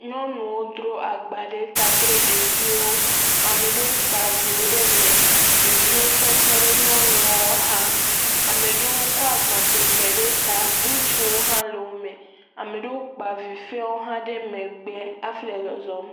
Nyɔnuwo dro agba ɖe ta kple ɖevio, ameɖo kpa viwo ɖe me, ɖevio tsɛ otɔ ɖe nyɔnuɔ xa, ame ɖowo kɔ agba kpekpe ɖe ta, ŋutsuwo hã le wo me, ameɖoo kpa vi f0wo hã ɖe megbe hafi le zɔzɔm.